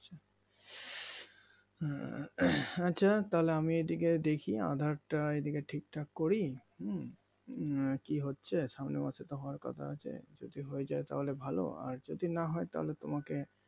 আহ আচ্ছা তাহলে আমি এইদিকে দেখি আধার তা এইদিকে ঠিকঠাক করি হম উম কি হচ্ছে সামনে মাসে তো হওয়ার কথা আছে যদি হয়ে যায় তাহলে ভালো আর যদি না হয় তাহলে তোমাকে